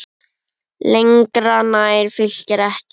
Lengra nær Fylkir ekki.